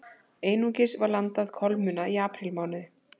Einungis var landað kolmunna í aprílmánuði